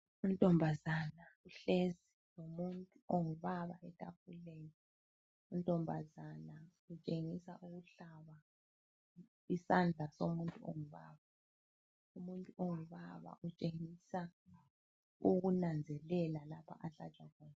Intombazana uhlezi lomuntu ongubaba etafuleni, untombazana utshengisa ukuhlaba isandla somuntu ongubaba. Umuntu ongubaba utshengisa ukunanzelela lapho ahlatswe khona.